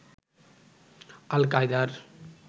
আল-কায়েদার